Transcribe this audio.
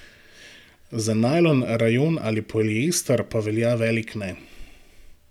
Za najlon, rajon ali poliester pa velja velik ne.